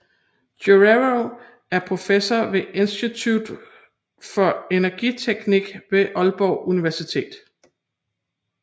Guerrero er professor ved Institut for Energiteknik ved Aalborg Universitet